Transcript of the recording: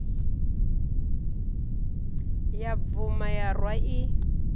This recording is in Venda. ya bvuma ya rwa i